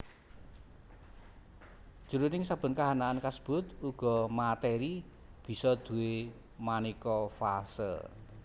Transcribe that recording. Jroning saben kahanan kasebut uga matèri bisa duwé manéka fase